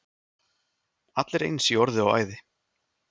Allir eins í orði og æði.